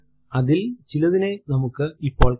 അതിൽ ചിലതിനെ നമുക്ക് ഇപ്പോൾ കാണാം